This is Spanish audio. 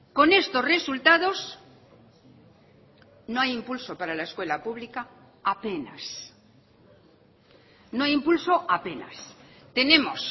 con estos resultados no hay impulso para la escuela pública apenas no hay impulso apenas tenemos